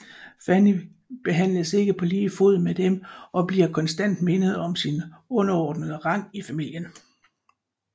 Fanny behandles ikke på lige fod med dem og bliver konstant mindet om sin underordnede rang i familien